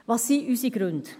Welches sind unsere Gründe?